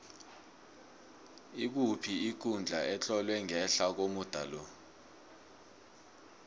ikuphi ikundla etlolwe ngehla komuda lo